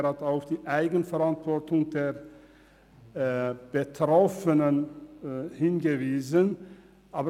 Er hat auch die Eigenverantwortung der Betroffenen erwähnt.